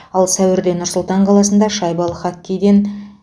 ал сәуірде нұр сұлтан қаласында шайбалы хоккейден